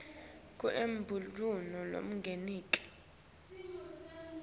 kute emabhudlo lamanengi